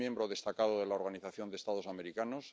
es miembro destacado de la Organización de Estados Americanos